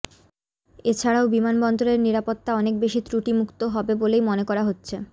এছাড়াও বিমানবন্দরের নিরাপত্তা অনেক বেশি ত্রুটিমুক্ত হবে বলেই মনে করা হচ্ছে